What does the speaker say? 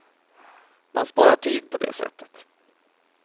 Man sparar tid på det sättet.